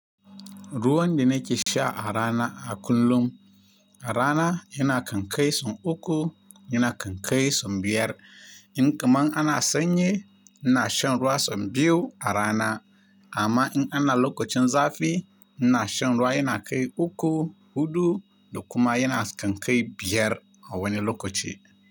Ruwan da nake sha a rana a kullum, a rana yana kan kai sun uku, yana kan kai sun biyar. In kamar ana sanyi, ina shan ruwa son biyu a rana. Amma in ana lokacin zafi, ina shan ruwa yana kai uku, hudu da kuma yana kan kai biyar a wani lokaci.